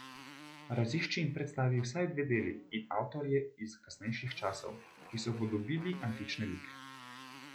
Razišči in predstavi vsaj dve deli in avtorje iz kasnejših časov, ki so upodobili antične like.